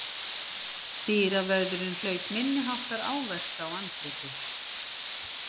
Dyravörðurinn hlaut minniháttar áverka á andliti